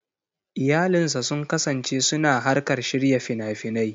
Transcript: Iyalinsa sun kasance suna harkar shirya fina-finai.